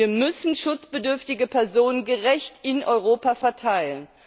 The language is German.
Wir müssen schutzbedürftige Personen gerecht in Europa verteilen.